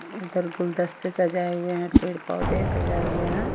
उधर गुलदस्ते सजाये हुए है। पेड़-पौधे सजाये हुए हैं।